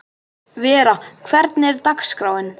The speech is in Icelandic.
Vera, hvernig er dagskráin?